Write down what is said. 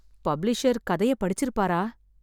Publisher கதையை படிச்சிருப்பாரா?